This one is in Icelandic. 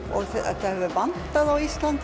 þetta hefur vantað á Íslandi